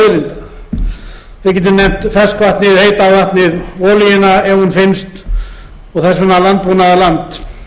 auðlinda við getum nefnt ferskvatnið heita vatnið olíuna ef hún finnst og þess vegna landbúnaðarland